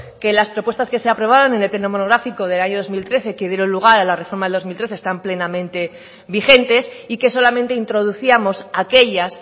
que las propuestas que se aprobaron en el pleno monográfico del año dos mil trece que dieron lugar a la reforma del dos mil trece están plenamente vigentes y que solamente introducíamos aquellas